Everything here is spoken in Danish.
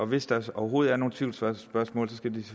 hvis der overhovedet er nogle tvivlsspørgsmål skal de